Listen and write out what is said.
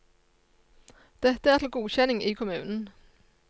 Dette er til godkjenning i kommunen.